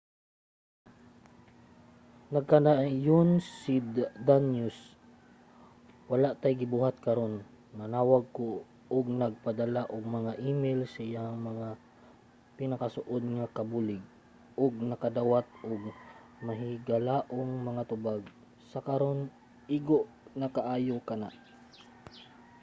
nagkanayon si danius wala tay ginabuhat karon. nanawag ko ug nagpadala og mga email sa iyang mga pinakasuod nga kabulig ug nakadawat ug mahigalaong mga tubag. sa karon igo na kaayo kana.